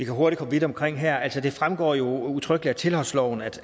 kan hurtigt komme vidt omkring her det fremgår jo udtrykkeligt af tilholdsloven at